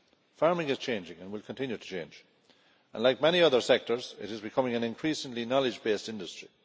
Farming is changing and will continue to change, and like many other sectors it is becoming an increasingly knowledge based industry.